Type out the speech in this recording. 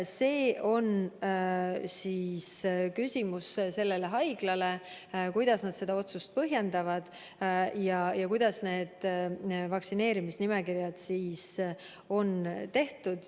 See on küsimus haiglale, kuidas nad seda otsust põhjendavad ja kuidas neil vaktsineerimisnimekirjad on tehtud.